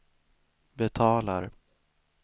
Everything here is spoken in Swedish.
betalar